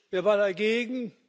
Wer war dagegen?